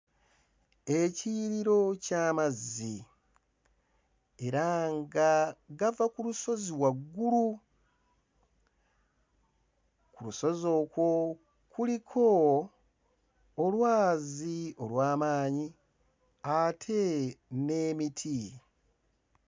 Ekiyiriro ky'amazzi era nga gava ku lusozi waggulu ku lusozi okwo kuliko olwazi olw'amaanyi ate n'emiti.